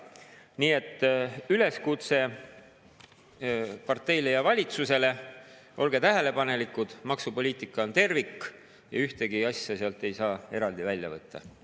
Nii et üleskutse parteile ja valitsusele: olge tähelepanelikud, maksupoliitika on tervik ja ühtegi asja ei saa eraldi välja võtta.